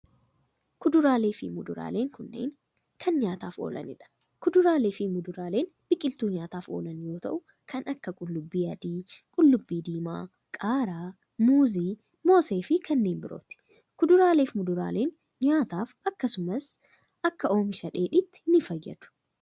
Kuduraalee fi muduraaleen kunneen, kan nyaataf oolanii dha. Kuduraalee fi muduraaleen biqiltuu nyaataf oolan yoo ta'u kan akka: qullubbii adii, qullubbii diimaa, qaaraa, muuzii ,moosee fi kanneen birooti. Kuduraalee fi muduraaleen nyaataf akkasumas akkasumas akka oomisha dheedhitti ni fayyadu.